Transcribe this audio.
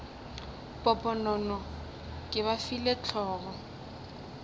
poponono ke ba file hlogo